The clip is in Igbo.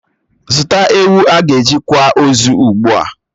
Zụta ewu ágà eji kwà ozu ugbua!